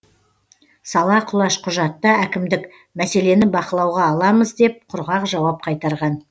сала құлаш құжатта әкімдік мәселені бақылауға аламыз деп құрғақ жауап қайтарған